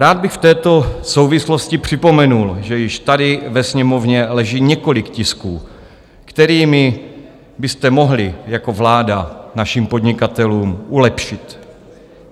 Rád bych v této souvislosti připomenul, že již tady ve Sněmovně leží několik tisků, kterými byste mohli jako vláda našim podnikatelům přilepšit.